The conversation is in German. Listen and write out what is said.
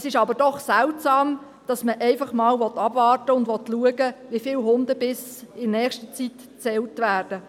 Es ist aber doch seltsam, dass man einfach einmal abwarten und schauen will, wie viele Hundebisse in der nächsten Zeit gezählt werden.